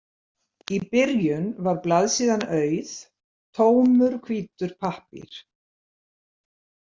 Í byrjun var blaðsíðan auð, tómur hvítur pappír.